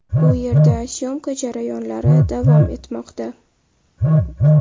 U yerda syomka jarayonlari davom etmoqda.